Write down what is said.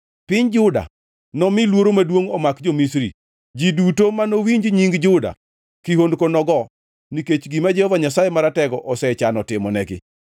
Piny Juda nomi luoro maduongʼ omak jo-Misri. Ji duto ma nowinj nying Juda kihondko nogo, nikech gima Jehova Nyasaye Maratego osechano timonegi.